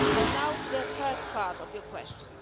Now to the first part of your question.